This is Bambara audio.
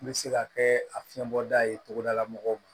N bɛ se ka kɛ a fiɲɛ bɔda ye cogodala mɔgɔw